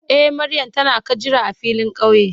Eh Mariam ta na ka jira a filin kauye.